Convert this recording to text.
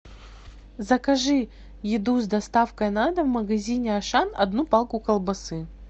закажи еду с доставкой на дом в магазине ашан одну палку колбасы